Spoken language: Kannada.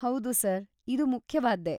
ಹೌದು ಸರ್, ಇದು ಮುಖ್ಯವಾದ್ದೇ.